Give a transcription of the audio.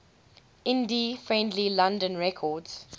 indie friendly london records